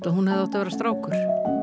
að hún hefði átt að vera strákur